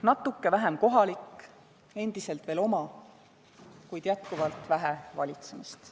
Natuke vähem "kohalik", endiselt veel "oma", kuid jätkuvalt vähe "valitsemist".